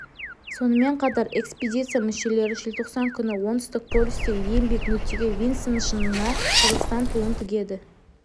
сонымен қатар экспедиция мүшелері желтоқсан күні оңтүстік полюстегі ең биік нүкте винсон шыңына қазақстан туын тігеді